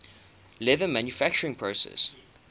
leather manufacturing process